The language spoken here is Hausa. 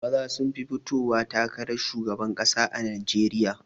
Maza sun fi fitowa takarar shugaban ƙasa a najeriya